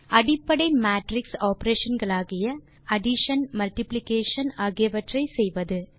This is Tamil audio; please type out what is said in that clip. அடிப்படை மேட்ரிக்ஸ் ஆப்பரேஷன் களாகிய அடிஷன் மல்டிப்ளிகேஷன் ஆகியவற்றை செய்வது